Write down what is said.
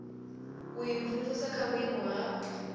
u imvumvusa kha vhuimo ha